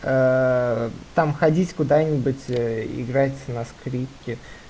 ээ там ходить куда-нибудь играть на скрипке